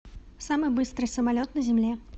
самый быстрый самолет на земле